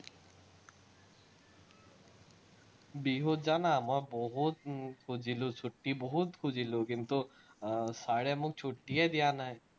বিহুত জানা মই বহুত উম খুজিলো ছুটি, বহুত খুজিলো কিন্তু, আহ চাৰে মোক ছুটিয়ে দিয়া নাই।